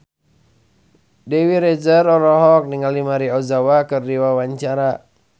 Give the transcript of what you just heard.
Dewi Rezer olohok ningali Maria Ozawa keur diwawancara